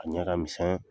A ɲɛ ka misɛn